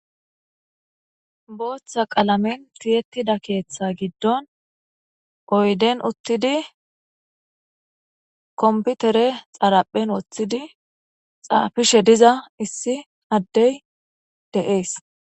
Botha qalame tiyetida krtha gidon guy doesn't utidi compter xaraphen wothidi xafishe de'za issi adey dese